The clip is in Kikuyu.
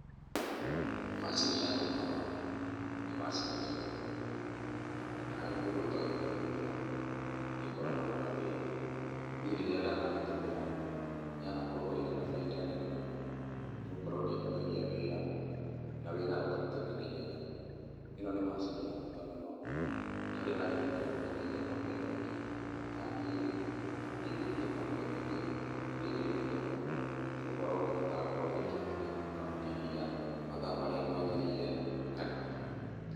Macini ya gũkama, nĩ macini njega mũno. Na harĩ Mũndũ ũtoĩ kũmĩhũthĩra, nĩkoragwo na mathĩna. Niĩ rĩrĩa ndanamĩtũmĩra, yanakorwo ĩrĩ na baida nene mũno. Nĩgũkorwo nĩhũthagia wĩra, na wĩra ũkarutĩka na ihenya. Ĩno nĩ macini ya bata mũno, harĩ arĩmi arĩa marĩithagia ng'ombe nyingĩ. Taniĩ-rĩ, ndĩithĩtie ng'ombe nyingĩ na niĩndeithagia mũno nĩgũkorwo nĩhotaga gũkorwo ndĩkĩtie gũkama iria mathaa marĩa magĩrĩire nga.